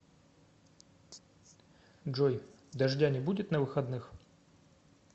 джой дождя не будет на выходных